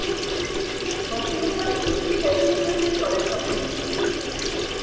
shopping ମାନେ କିଛି ହେଇନି କହିଲେ ଚଲେ shoppingରେ କିଛି ହେଇନି